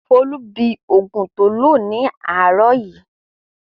Folú bi òògùn tó lò láàárọ̀ yìí.